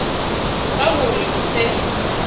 ka ho re o se